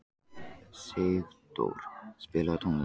Sigdór, spilaðu tónlist.